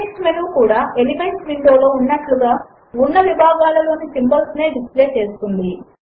context menu కూడా elements window లో ఉన్నట్లుగా ఉన్న విభాగములలోని సింబాల్స్ నే డిస్ప్లే చేస్తుంది